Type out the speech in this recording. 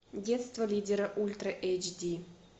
детство лидера ультра эйч ди